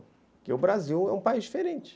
Porque o Brasil é um país diferente.